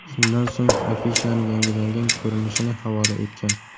Shundan so‘ng afishaning yangilangan ko‘rinishini havola etgan.